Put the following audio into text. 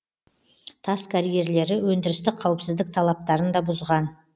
тас карьерлері өндірістік қауіпсіздік талаптарын да бұзған